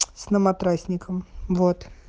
с наматрасником вот